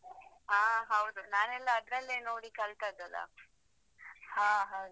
ಹಾ ಹೌದು ನಾನೆಲ್ಲಾ ಅದ್ರಲ್ಲೇ ನೋಡಿ ಕಲ್ತದ್ದಲ್ಲಾ. ಹಾ ಹೌದಾ.